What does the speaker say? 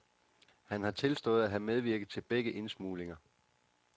Han har tilstået at have medvirket til begge indsmuglinger.